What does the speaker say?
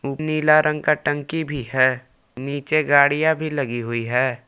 नीला रंग का टंकी भी है नीचे गाड़ियां भी लगी हुई है।